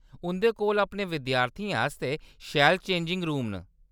उंʼदे कोल अपने विद्यार्थियें आस्तै शैल चेंजिंग रूम न।